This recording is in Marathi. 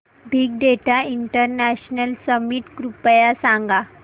बिग डेटा इंटरनॅशनल समिट कृपया सांगा